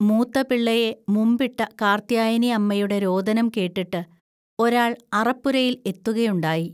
മൂത്തപിള്ളയെ മുമ്പിട്ട കാർത്ത്യായനിഅമ്മയുടെ രോദനം കേട്ടിട്ട് ഒരാൾ അറപ്പുരയിൽ എത്തുക ഉണ്ടായി